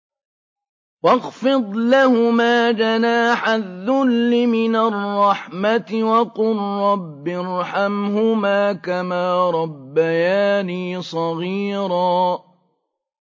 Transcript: وَاخْفِضْ لَهُمَا جَنَاحَ الذُّلِّ مِنَ الرَّحْمَةِ وَقُل رَّبِّ ارْحَمْهُمَا كَمَا رَبَّيَانِي صَغِيرًا